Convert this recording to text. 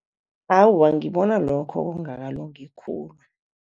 Awa, ngibona lokho kungakalungi khulu.